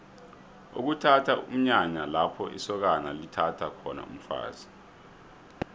ukuthatha mnyanya lapho isokana lithatha khona umfazi